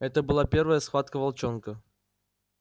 это была первая схватка волчонка